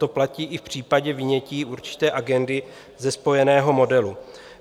To platí i v případě vynětí určité agendy ze spojeného modelu.